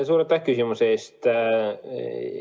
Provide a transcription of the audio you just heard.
Suur aitäh küsimuse eest!